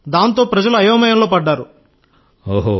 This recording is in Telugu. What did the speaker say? దాంతో ప్రజలు అయోమయంలో పడ్డారు సార్